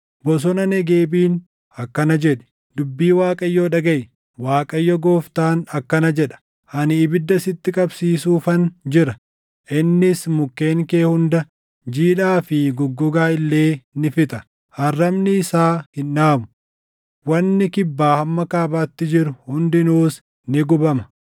Bosona Negeebiin akkana jedhi: ‘Dubbii Waaqayyoo dhagaʼi. Waaqayyo Gooftaan akkana jedha: Ani ibidda sitti qabsiisuufan jira; innis mukkeen kee hunda jiidhaa fi goggogaa illee ni fixa. Arrabni isaa hin dhaamu; wanni kibbaa hamma kaabaatti jiru hundinuus ni gubama.